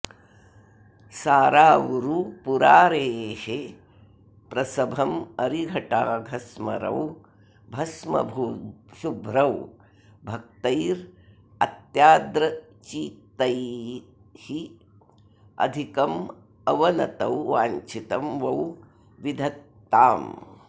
सारावूरू पुरारेः प्रसभमरिघटाघस्मरौ भस्मशुभ्रौ भक्तैरत्यार्द्रचित्तैरधिकमवनतौ वाञ्छितं वो विधत्ताम्